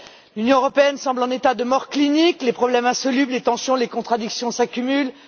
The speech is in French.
L'Union européenne semble en état de mort clinique, les problèmes insolubles, les tensions, les contradictions s'accumulent.